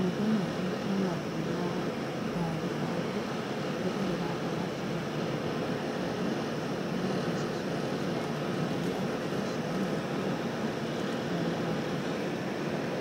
Mũthenya ũrĩa itanathiĩ na ngari handũ, hũthagĩra thĩ wa ciringi magana matano, tondũ no mbeca cia kũgũra iria rĩa cai wa kĩroko, na mũgate.